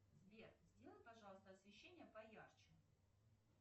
сбер сделай пожалуйста освещение поярче